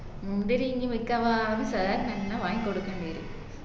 മുന്തിരി ഇനി മിക്കവാറും sir ന് എന്ന വാങ്ങി കൊടുക്കേണ്ടി വരും